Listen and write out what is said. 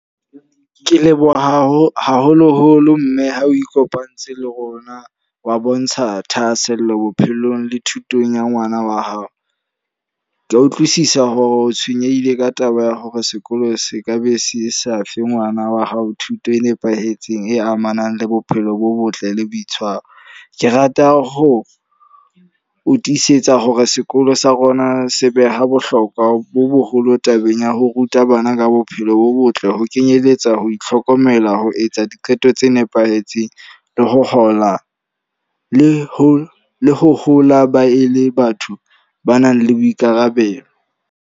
Ke leboha haho haholo-holo mme ha o ikopantse le rona wa bontsha thahaasello bophelong le thutong ya ngwana wa hao. Ke a utlwisisa hore o tshwenyehile ka taba ya hore sekolo se ka be se sa fe ngwana wa hao thuto e nepahetseng e amanang le bophelo bo botle le boitshwaro. Ke rata ho o tisetsa hore sekolo sa rona se beha bohlokwa bo boholo tabeng ya ho ruta bana ka bophelo bo botle. Ho kenyelletsa ho itlhokomela, ho etsa diqeto tse nepahetseng, le ho hola le ho hola ba e le batho ba nang le boikarabelo.